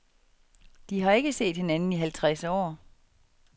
De har ikke set hinanden i halvtreds år.